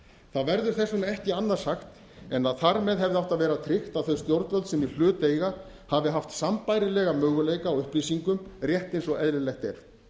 það verður þess vegna ekki annað sagt en að þar með hefði átt að vera tryggt að þau stjórnvöld sem í hlut eiga hafi haft sambærilega möguleika á upplýsingum rétt eins og eðlilegt er